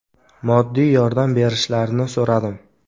Moddiy yordam berishlarini so‘radim.